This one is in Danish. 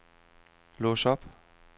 lås op